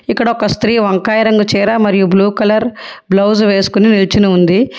ఇక్కడ ఒక స్త్రీ వంకాయ రంగు చీర మరియు బ్లూ కలర్ బ్లౌజ్ వేసుకుని నిల్చొని ఉంది.